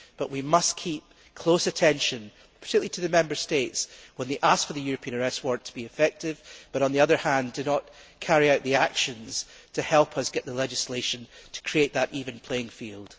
But we must pay close attention, particularly to the Member States when they ask for the European Arrest Warrant to be effective, but, on the other hand, do not carry out the actions to help us get the legislation to create that even playing field.